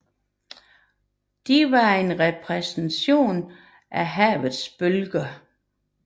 De var en repræsentation af havets bølger